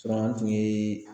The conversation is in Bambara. an tun ye